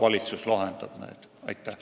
Aitäh!